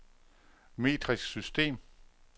metrisk system